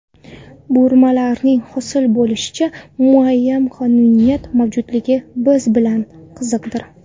Burmalarning hosil bo‘lishida muayyan qonuniyat mavjudligi bilan qiziqdir.